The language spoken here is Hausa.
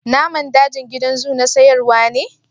Naman dajin gidan zoo na sayarwa ne.